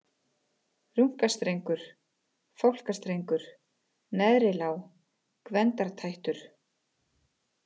Runkastrengur, Fálkastrengur, Neðri-Lá, Gvendartættur